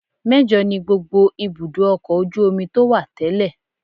Mẹ́jọ ni gbogbo ibùdó ọkọ̀ ojú omi tó wà tẹ́lẹ̀